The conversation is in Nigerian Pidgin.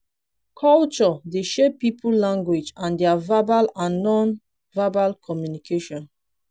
culture dey shape pipo language and their verbal and non-verbal communication